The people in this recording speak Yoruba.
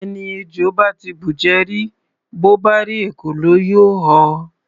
Ẹni ejò bá ti bùjẹ rí, bó bá rí ekòló, yóò họ.